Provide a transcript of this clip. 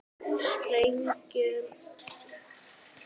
Sprengju eytt á Bolafjalli